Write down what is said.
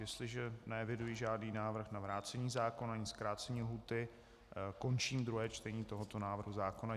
Jestliže neeviduji žádný návrh na vrácení zákona ani zkrácení lhůty, končím druhé čtení tohoto návrhu zákona.